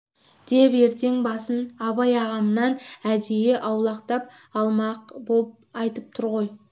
деп ертең басын абай ағамнан әдейі аулақтап алмақ боп айтып тұр ғой